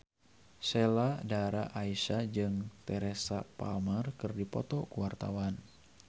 Sheila Dara Aisha jeung Teresa Palmer keur dipoto ku wartawan